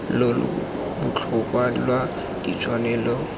lo lo botlhokwa lwa ditshwanelo